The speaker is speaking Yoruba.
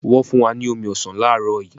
Wọn fun wa ni omi ọsan laarọ yi